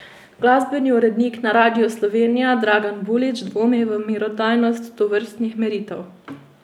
Glasbeni urednik na Radiu Slovenija Dragan Bulič dvomi v merodajnost tovrstnih meritev.